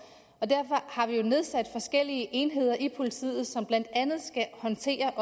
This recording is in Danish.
og derfor har vi jo nedsat forskellige enheder i politiet som blandt andet skal håndtere